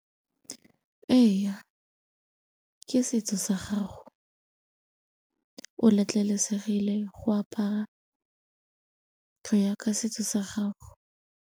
Eya ke setso sa gago, o letlelesegile go apara go ya ka setso sa gago.